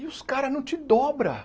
E os caras não te dobram.